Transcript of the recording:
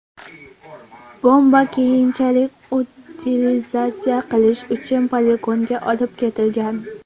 Bomba keyinchalik utilizatsiya qilish uchun poligonga olib ketilgan.